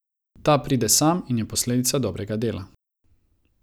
Ta pride sam in je posledica dobrega dela.